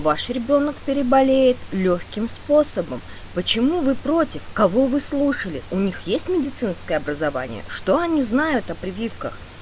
ваш ребёнок переболеет лёгким способом почему вы против кого вы слушали у них есть медицинское образование что они знают о прививках